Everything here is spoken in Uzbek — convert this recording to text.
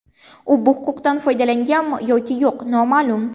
U bu huquqdan foydalanganmi yoki yo‘q noma’lum.